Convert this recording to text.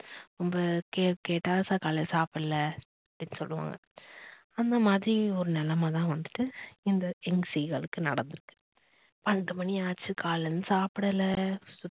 நம்ப கேட்டா sir காலைல சாபடல அப்படின்னு சொல்லுவோம்ல அந்த மாதிரி ஒரு நிலைமை தான் வந்துட்டு இந்த seegal க்கு நடந்து இருக்கு. பன்னிரெண்டு மணி ஆச்சு காலேந்து சாப்டல